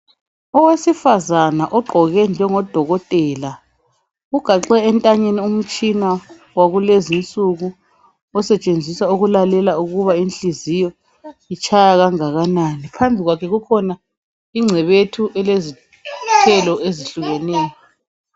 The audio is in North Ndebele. Owesifazana ogqoke njengoDokotela ugaxe entanyeni umtshina wakulezinsuku osetshenziswa ukulalela ukuba inhliziyo itshaya kangakanani phambi kwakhe kukhona ingcebethu elezithelo ezitshiyeneyo